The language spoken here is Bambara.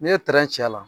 N'i ye trɛncɛ la